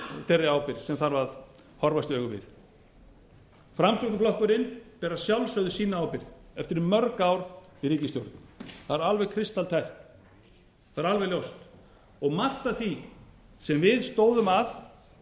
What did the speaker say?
þeirri ábyrgð sem þarf að horfast i augu við framsóknarflokkurinn ber að sjálfsögðu sína ábyrgð eftir mörg ár í ríkisstjórn það er alveg kristaltært það er alveg ljóst og margt af því sem við stóðum að